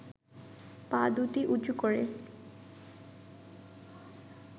পা দুটি উঁচু করে